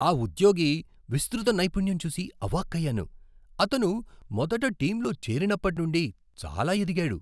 ఆ ఉద్యోగి విస్తృత నైపుణ్యం చూసి అవాక్కయ్యాను. అతను మొదట టీంలో చేరినప్పటి నుండి చాలా ఎదిగాడు.